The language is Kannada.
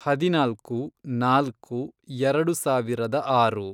ಹದಿನಾಲ್ಕು, ನಾಲ್ಕು, ಎರೆಡು ಸಾವಿರದ ಆರು